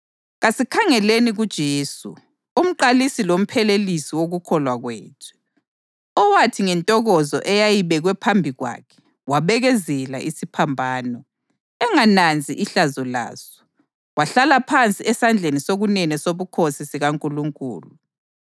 Kasikhangeleni kuJesu, uMqalisi loMphelelisi wokukholwa kwethu, okwathi ngentokozo eyayibekwe phambi kwakhe wabekezelela isiphambano, engananzi ihlazo laso, wahlala phansi esandleni sokunene sobukhosi sikaNkulunkulu.